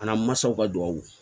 A namasaw ka duwawu